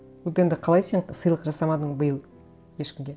вот енді қалай сен сыйлық жасамадың биыл ешкімге